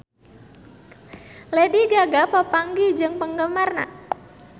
Lady Gaga papanggih jeung penggemarna